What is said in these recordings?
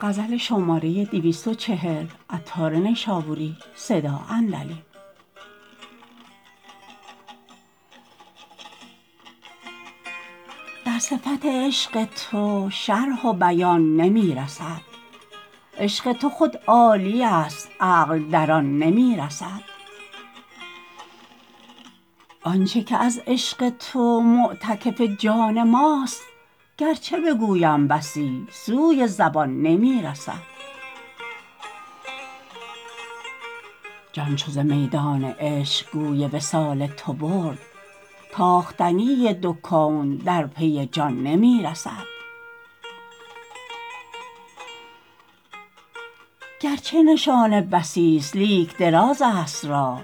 در صفت عشق تو شرح و بیان نی رسد عشق تو خود عالمی ست عقل در آن نی رسد آنچه که از عشق تو معتکف جان ماست گرچه بگویم بسی سوی زبان نی رسد جان چو ز میدان عشق گوی وصال تو برد تاختنی دو کون در پی جان نی رسد گرچه نشانه بسی است لیک دراز است راه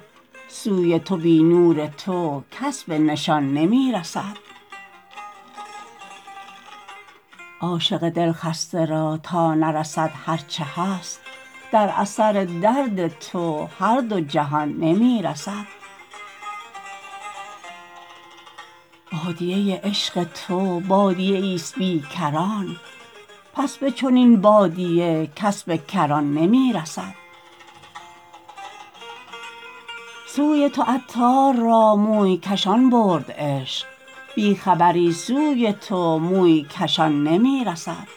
سوی تو بی نور تو کس به نشان نی رسد عاشق دل خسته را تا نرسد هرچه هست در اثر درد تو هر دو جهان نی رسد بادیه عشق تو بادیه ای است بی کران پس به چنین بادیه کس به کران نی رسد سوی تو عطار را موی کشان برد عشق بی خبری سوی تو موی کشان نی رسد